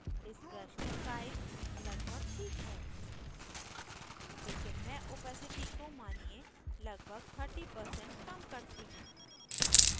इस brush का size लगभग this है लेकिन मैं opacity को मानिये लगभग 30% कम करती हूँ